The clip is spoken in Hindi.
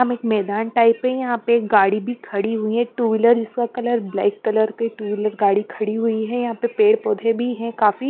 हम एक मैदान टाइप पे यहाँ पे एक गाड़ी भी खड़ी हुई है टू व्हीलर जिसका कलर ब्लैक कलर के टू व्हीलर गाड़ी खड़ी हुई है यहाँ पे पेड़ पौधे भी हैं काफी --